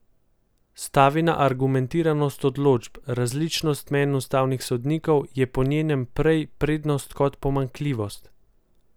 Stavi na argumentiranost odločb, različnost mnenj ustavnih sodnikov je po njenem prej prednost kot pomanjkljivost.